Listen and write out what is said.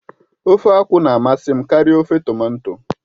Ofe akwụ na-amasị m karịa ofe tomato